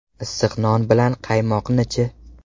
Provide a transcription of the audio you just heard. Issiq non bilan qaymoqni-chi?